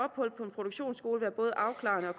produktionsskole være både afklarende og